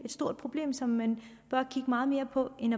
et stort problem som man bør kigge meget mere på end